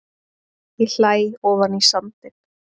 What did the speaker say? Ég hlæ ofan í sandinn.